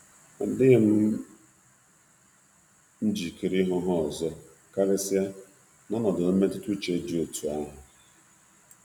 um Adịghị m njikere ịhụ um ha ọzọ, karịsịa n'ọnọdụ mmetụta uche dị otú ahụ.